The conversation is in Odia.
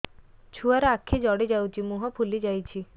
ଛୁଆର ଆଖି ଜଡ଼ି ଯାଉଛି ମୁହଁ ଫୁଲି ଯାଇଛି